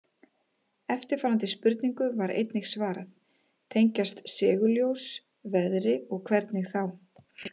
Eftirfarandi spurningu var einnig svarað: Tengjast segulljós veðri og hvernig þá?